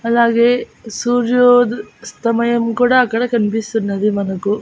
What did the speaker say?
అలాగే సూర్యోద్ స్తమయం కూడా అక్కడ కనిపిస్తున్నది మనకు.